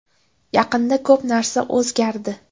Yaqinda ko‘p narsa o‘zgardi.